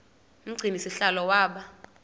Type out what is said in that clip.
umgcini sihlalo waba